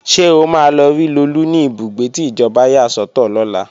Ṣé o máa lọ rí Lolú ní ibùgbé tí ìjọba yà sọ́tọ̀ lọ́la?